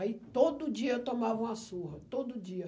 Aí todo dia tomava uma surra, todo dia.